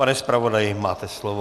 Pane zpravodaji, máte slovo.